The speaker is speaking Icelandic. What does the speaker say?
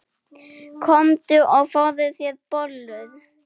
Komdu og fáðu þér bollur.